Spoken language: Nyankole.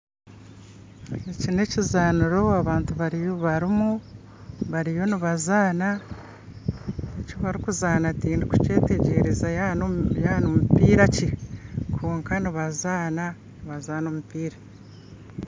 Eki na ekizaniro abantu barumu bariyo nibazaana eki barikuzaana tindukukyetegereza yaba na omupiira ki kwonka nibazaana nibazaana omupiira